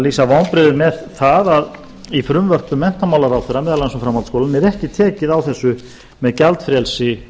lýsa vonbrigðum með það að í frumvörpum menntamálaráðherra meðal annars um framhaldsskóla er ekki tekið á þessu með gjaldfrelsi